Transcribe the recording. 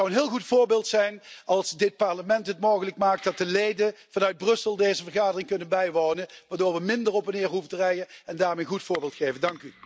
Het zou een heel goed voorbeeld zijn als dit Parlement het mogelijk maakt dat de leden vanuit Brussel deze vergadering kunnen bijwonen, waardoor we minder op en neer hoeven te rijden en daarmee een goed voorbeeld geven.